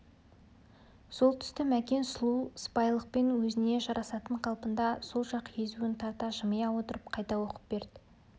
сол тұсты мәкен сұлу сыпайылықпен өзіне жарасатын қалпында сол жақ езуін тарта жымия отырып қайта оқып берді